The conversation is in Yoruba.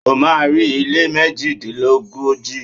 O má́a rí ilé méjìdínlógójì.